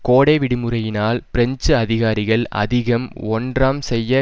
கோடை விடுமுறையினால் பிரெஞ்சு அதிகாரிகள் அதிகம் ஒன்றாம் செய்ய